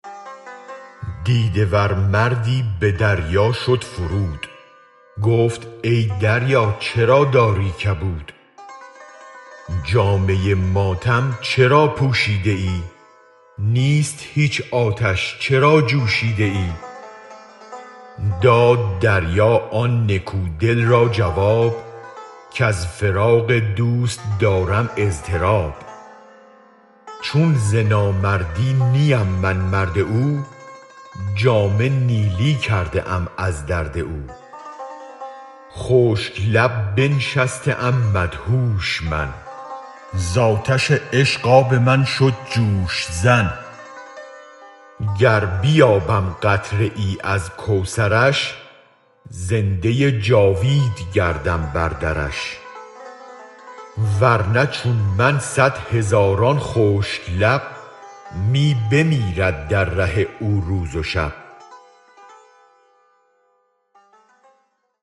دیده ور مردی به دریا شد فرود گفت ای دریا چرا داری کبود جامه ماتم چرا پوشیده ای نیست هیچ آتش چرا جوشیده ای داد دریا آن نکو دل را جواب کز فراق دوست دارم اضطراب چون ز نامردی نیم من مرد او جامه نیلی کرده ام از درد او خشک لب بنشسته ام مدهوش من زآتش عشق آب من شد جوش زن گر بیابم قطره ای از کوثرش زنده جاوید گردم بر درش ورنه چون من صد هزاران خشک لب می بمیرد در ره او روز و شب